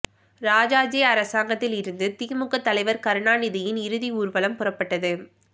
ராஜாஜி அரங்கத்தில் இருந்து திமுக தலைவர் கருணாநிதியின் இறுதி ஊர்வலம் புறப்பட்டது